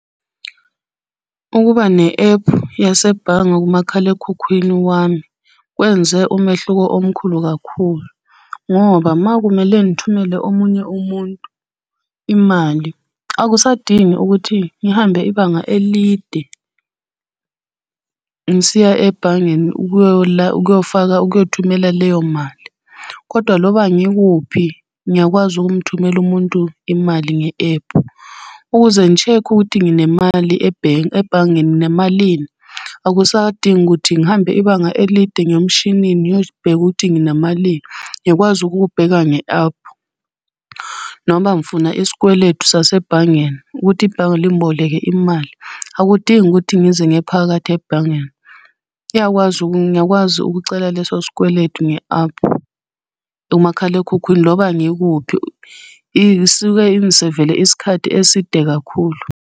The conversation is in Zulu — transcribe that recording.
Ukuba ne-ephu yasebhange kumakhalekhukhwini wami kwenze umehluko omkhulu kakhulu, ngoba uma kumele ngithumele omunye umuntu imali akusadingi ukuthi ngihambe ibanga elide, ngisiya ebhangeni ukuyofaka ukuyothumela leyo mali. Kodwa loba ngikuphi ngiyakwazi ukumthumela umuntu imali nge-ephu. Ukuze ngi-check-e ukuthi nginemali ebhangeni nginamalini, akusadingi ukuthi ngihambe ibanga elide ngiye emshinini ngiyobheka ukuthi nginamalini, ngikwazi ukubheka nge-aphu. Noma ngifuna isikweletu sasebhangeni ukuthi ibhange lingiboleke imali akudingi ukuthi ngize ngiye phakathi ebhangeni. Iyakwazi, ngiyakwazi ukucela leso sikweletu nge-aphu, umakhalekhukhwini loba ngikuphi isuke ingisevele isikhathi eside kakhulu.